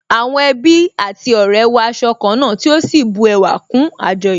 Àwọn ẹbí àti ọ̀rẹ́ wọ aṣọ ká náà tí ó sì bu ẹwà kún àjọyọ̀